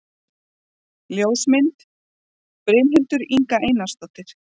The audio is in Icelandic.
Ljósmynd: Brynhildur Inga Einarsdóttir